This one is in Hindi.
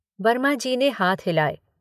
वर्माजी ने हाथ हिलाए।